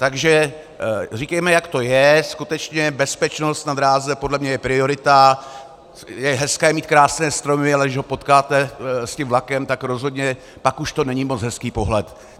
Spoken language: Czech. Takže říkejme, jak to je, skutečně bezpečnost na dráze podle mě je priorita, je hezké mít krásné stromy, ale když ho potkáte s tím vlakem, tak rozhodně pak už to není moc hezký pohled.